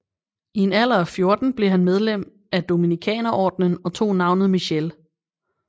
I en alder af 14 blev han medlem af Dominikanerordenen og tog navnet Michele